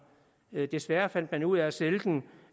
desværre fandt man ud af at sælge den